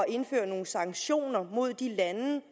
indføre nogle sanktioner mod de lande